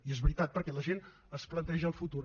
i és veritat perquè la gent es planteja el futur